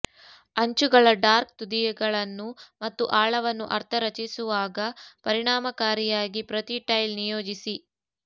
ಅಂಚುಗಳ ಡಾರ್ಕ್ ತುದಿಗಳನ್ನು ಮತ್ತು ಆಳವನ್ನು ಅರ್ಥ ರಚಿಸುವಾಗ ಪರಿಣಾಮಕಾರಿಯಾಗಿ ಪ್ರತಿ ಟೈಲ್ ನಿಯೋಜಿಸಿ